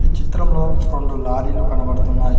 ఈ చిత్రంలో రెండు లారీలు కనబడుతున్నాయి.